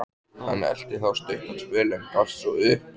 Hann elti þá stuttan spöl, en gafst svo upp.